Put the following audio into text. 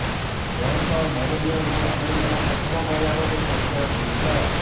ଏହା ସହ ମେଲାନିୟାଙ୍କୁ ଆମେରିକାର ପ୍ରଥମ ମହିଳା ଭାବେ ପରିଚୟ ମିଳିଥିଲା